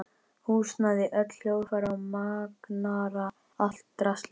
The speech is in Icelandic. Húsnæði, öll hljóðfæri og magnara, allt draslið.